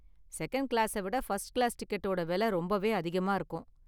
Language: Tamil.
செகண்ட் கிளாஸ விட ஃபர்ஸ்ட் கிளாஸ் டிக்கெட்டோட விலை ரொம்பவே அதிகமா இருக்கும்.